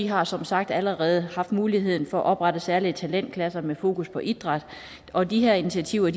har som sagt allerede haft mulighed for at oprette særlige talentklasser med fokus på idræt og de her initiativer